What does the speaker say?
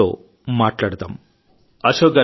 నవయువకుడైన వారి కుమారుడు కూడా ఈ ఊబిలో చికుక్కున్నాడు